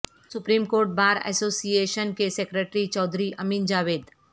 supreme court bar association کے secretary Chaudhry Amin Javed